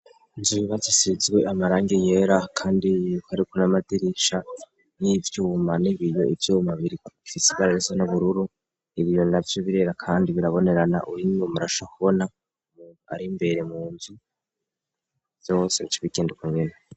Nzu bibaz isizwe amarangi yera, kandi ibkariko n'amadirisha y'ivyuma n'ibiyo ivyumabiri ifisigararesa n'ubururu ibiyo na vyo birera, kandi birabonerana uwine murasha kubona mu ariimbere mu nzu yose bcobigenduku nyene.